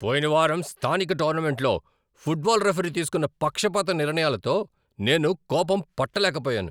పోయిన వారం స్థానిక టోర్నమెంట్లో ఫుట్బాల్ రిఫరీ తీసుకున్న పక్షపాత నిర్ణయాలతో నేను కోపం పట్టలేకపోయాను.